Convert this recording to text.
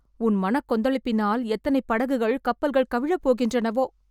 உன் மனக்கொந்தளிப்பினால் எத்தனை படகுகள், கப்பல்கள் கவிழப் போகின்றனவோ...